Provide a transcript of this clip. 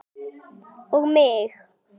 Og mig!